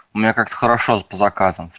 у меня как хорошо по заказам